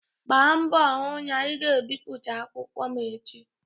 Gbaa mbọ hụ na ị ga-ebipụta akwụkwọ m echi!